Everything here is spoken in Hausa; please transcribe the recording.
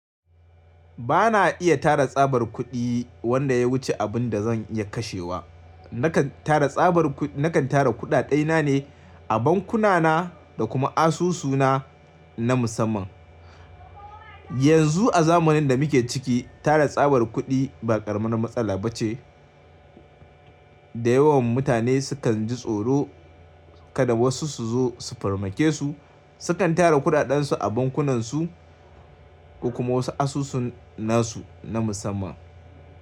Ba na iya tara tsabar kuɗi wanda ya wuce abin da zan iya kashewa. Nakan tara tsabar kuɗaɗai na ne a bankuna na da kuma asusuna na musamman. Yanzu a zamanin da muke ciki tara tsabar kuɗi ba ƙaramin matsala ba ce da yawan mutane sukan ji tsoro kada wasu su zo su farmakesu. Sukan tara kuɗaɗansu a bankunansu ko kuma wasu asusun nasu na musamman.